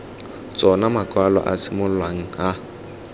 tsona makwalo a simololang a